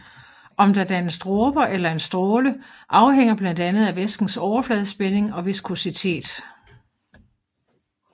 Om der dannes dråber eller en stråle afhænger blandt andet af væskens overfladespænding og viskositet